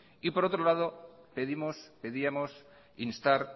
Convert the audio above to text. por otro lado pedíamos instar